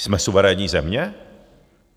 Jsme suverénní země?